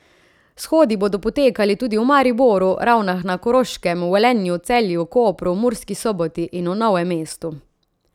Shodi bodo potekali tudi v Mariboru, Ravnah na Koroškem, Velenju, Celju, Kopru, Murski Soboti in v Novem mestu.